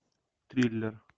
триллер